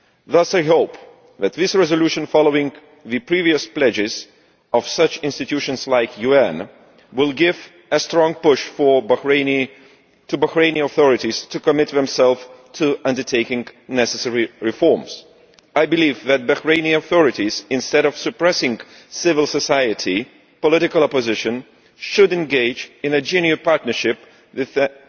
Thus I hope that this resolution, following on from the previous pledges of such institutions as the UN, will give a strong push to the Bahraini authorities to commit themselves to undertaking necessary reforms. I believe that the Bahraini authorities, instead of suppressing civil society and political opposition, should engage in a genuine partnership so that,